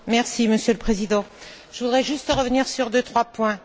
Monsieur le Président, je voudrais juste revenir sur deux ou trois points.